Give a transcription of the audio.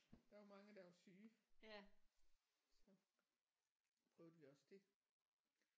Der var mange der var syge så prøvede vi også det